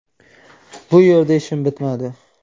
Bu yerda ishim bitmadi.